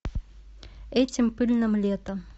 этим пыльным летом